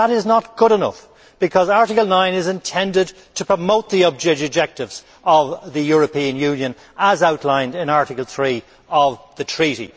That is not good enough, because Article 9 is intended to promote the objectives of the European Union as outlined in Article 3 of the Treaty.